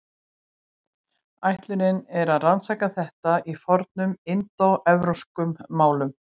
Ætlunin er að rannsaka þetta í fornum indóevrópskum málum.